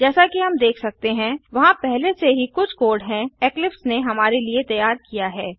जैसा कि हम देख सकते हैं वहाँ पहले से ही कुछ कोड है इक्लिप्स ने हमारे लिए तैयार किया है